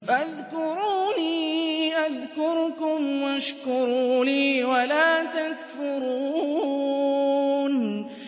فَاذْكُرُونِي أَذْكُرْكُمْ وَاشْكُرُوا لِي وَلَا تَكْفُرُونِ